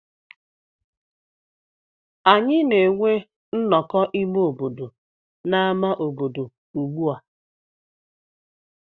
Anyị na-enwe nnọkọ ime obodo n'ámá obodo ugbu a.